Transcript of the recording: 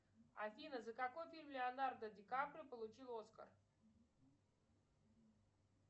афина за какой фильм леонардо ди каприо получил оскар